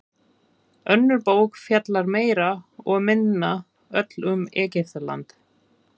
Önnur bók fjallar meira og minna öll um Egyptaland.